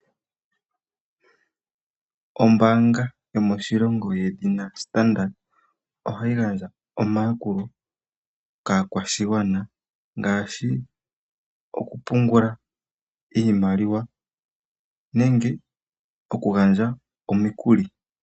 Ombaanga yomoshilongo yedhina Standard bank ohayi gandja omayakulo kaakwashigwana ngaashi okupungula iimaliwa nenge okugandja omikuli.